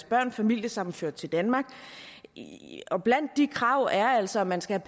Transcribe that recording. børn familiesammenført til danmark blandt de krav er altså at man skal